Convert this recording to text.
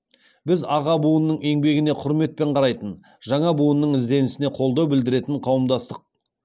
біз аға буынның еңбегіне құрметпен қарайтын жаңа буынның ізденісіне қолдау білдіретін қауымдастық